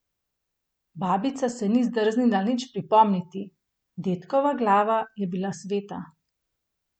Babica se ni drznila nič pripomniti, dedkova glava je bila sveta.